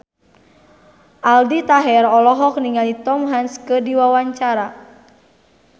Aldi Taher olohok ningali Tom Hanks keur diwawancara